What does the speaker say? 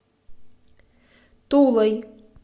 тулой